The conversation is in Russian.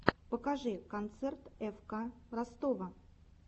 покажи концерт фк ростова